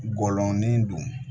Gɔlɔnin don